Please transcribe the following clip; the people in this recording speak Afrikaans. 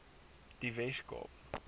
die wes kaap